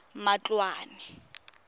matloane